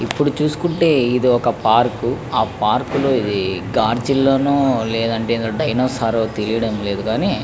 ఇప్పూ చూసుకుంటే ఇది ఒక పార్క్ ఆ పార్క్ లో గర్జిల నో డైనోసార్ తతెలియడం లేదు గాని --